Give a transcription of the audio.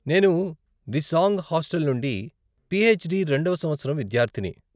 నేను దిసాంగ్ హాస్టల్ నుండి పీహెచ్డీ రెండవ సంవత్సరం విద్యార్ధిని.